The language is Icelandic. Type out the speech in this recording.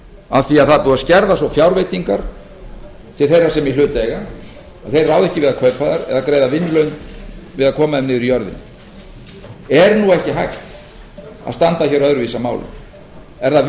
af því að það er búið að skerða svo fjárveitingar til þeirra sem í hlut eiga að þeir ráða ekki við kaupa þær eða greiða vinnulaun við að koma þeim niður í jörðina er nú ekki hægt að standa hér öðruvísi að málum er það